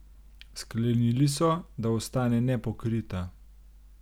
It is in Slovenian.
Sklenili so, da ostane nepokrita.